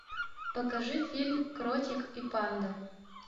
покажи фильм кротик и панда